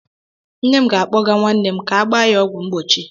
Nne m ga-akpọga nwanne m ka agba ya ọgwụ mgbochi.